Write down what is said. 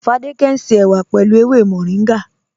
Fádẹkẹ̀ ń ṣe èwà pẹ̀lú èwè Mọ̀ríngá.